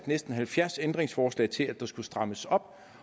næsten halvfjerds ændringsforslag til at der skulle strammes op